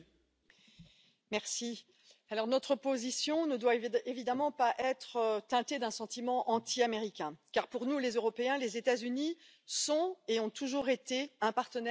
Madame la Présidente, notre position ne doit évidemment pas être teintée d'un sentiment anti américain, car pour nous, Européens, les États Unis sont et ont toujours été un partenaire privilégié.